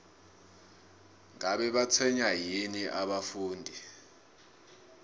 ngabe batshwenywa yini abafundi